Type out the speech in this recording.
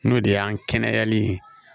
N'o de y'an kɛnɛyali ye